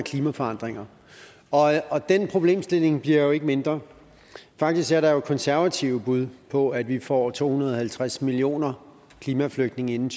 af klimaforandringer og og den problemstilling bliver jo ikke mindre faktisk er der konservative bud på at vi får to hundrede og halvtreds millioner klimaflygtninge inden